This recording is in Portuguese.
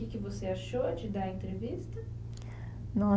O que que você achou de dar a entrevista? No